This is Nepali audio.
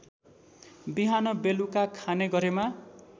बिहानबेलुका खाने गरेमा